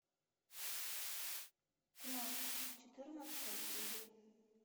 тьма четырнадцатая серия